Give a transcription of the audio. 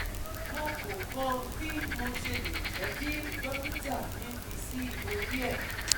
Mo ko mo bi mo sele je ki dokita mi fi si ori e